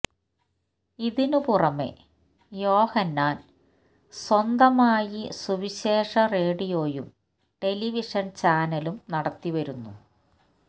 ഇതിന് പുറമേ യോഹന്നാൻ സ്വന്തമായി സുവിശേഷ റേഡിയോയും ടെലിവിഷൻ ചാനലും നടത്തിവരുന്നു